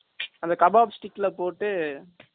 அந்த kebab stick ல போட்டு